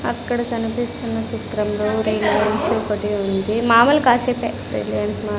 అక్కడ కనిపిస్తున్న చిత్రంలో రెలయన్స్ ఒకటి ఉంది మామూలు కాసేపే రెలయన్స్ మాదిరి.